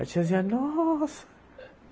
A tiazinha, nossa!